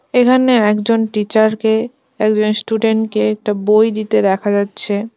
এখানে একজন টিচার -কে একজন স্টুডেন্ট -কে একটা বই দিতে দেখা যাচ্ছে।